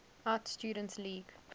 art students league